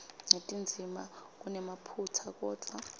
netindzima kunemaphutsa kodvwa